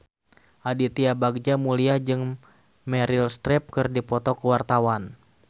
Aditya Bagja Mulyana jeung Meryl Streep keur dipoto ku wartawan